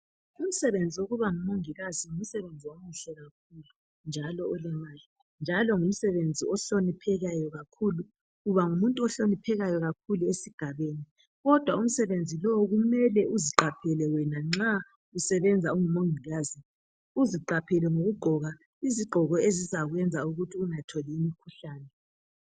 Umsebenzi wokuba ngumongikazi ngumsebenzi omuhle kakhulu olemali njalo ngumsebenzi ohloniphekayo kakhulu, uba ngumuntu ohloniphekayo kakhulu esigabeni kodwa umsebenzi lo kumele uziqaphele wena ngokugqoka izigqoko ezizakwenza ukuthi ungatholi imikhuhlane.